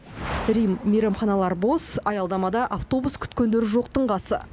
рим мейрамханалары бос аялдамада автобус күткендер жоқтың қасы